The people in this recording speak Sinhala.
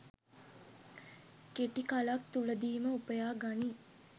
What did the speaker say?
කෙටි කලක් තුළදීම උපයා ගනී.